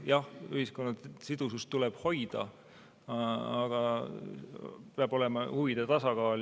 Jah, ühiskonna sidusust tuleb hoida, aga peab olema huvide tasakaal.